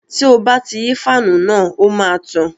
Tí o bá ti yí fáànù náà, ó máa tàn